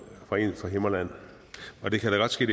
fra en fra himmerland det kan da godt ske